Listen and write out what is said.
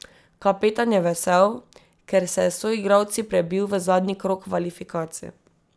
Kapetan je vesel, ker se je s soigralci prebil v zadnji krog kvalifikacij.